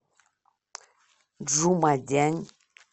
чжумадянь